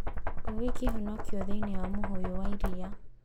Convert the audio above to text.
Ngui kũhonokio thĩinĩ wa mũhũyũ wa iria